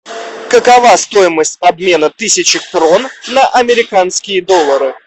какова стоимость обмена тысячи крон на американские доллары